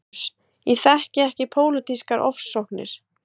LÁRUS: Ég þekki ekki pólitískar ofsóknir.